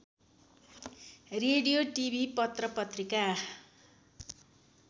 radio TV पत्रपत्रिका